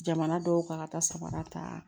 Jamana dɔw kan ka taa sabara ta